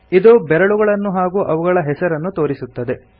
ಇದು ಬೆರಳುಗಳನ್ನು ಹಾಗೂ ಅವುಗಳ ಹೆಸರನ್ನು ತೋರಿಸುತ್ತದೆ